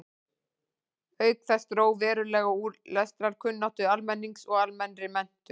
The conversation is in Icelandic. Auk þess dró verulega úr lestrarkunnáttu almennings og almennri menntun.